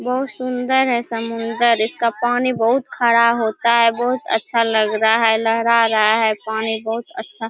बहुत सुन्दर है समुन्दर इसका पानी बहुत खारा होता है बहुत अच्छा लग रहा है लहरा रहा है पानी बहुत अच्छा--